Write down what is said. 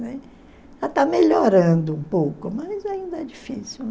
está melhorando um pouco, mas ainda é difícil